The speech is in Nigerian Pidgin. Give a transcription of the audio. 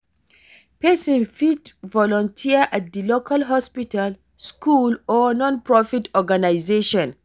Pesin fit volunteer at di local hospital, school, or non-profit organization.